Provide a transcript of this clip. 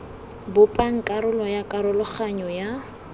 bopang karolo ya karologanyo ya